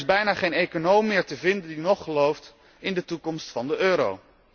Er is bijna geen econoom meer te vinden die nog gelooft in de toekomst van de euro.